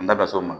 N da s'o ma